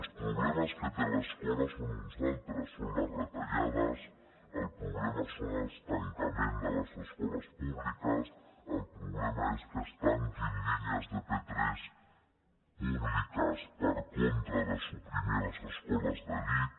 els problemes que té l’escola són uns altres són les retallades el problema és el tancament de les escoles públiques el problema és que es tanquin línies de p3 públiques per contra de suprimir les escoles d’elit